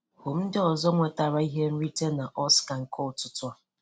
Hụ ndị ọzọ nwetara ihe nrite na Oscar nke ụtụtụ a.